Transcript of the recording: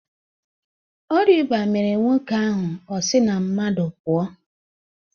Ọria ịba mere nwoke ahụ o si na mmadụ pụọ.